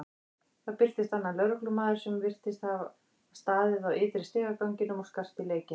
Þá birtist annar lögreglumaður sem virtist hafa staðið á ytri stigaganginum og skarst í leikinn.